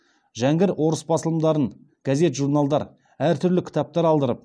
жәңгір орыс басылымдарын газет журналдар әртүрлі кітаптар алдырып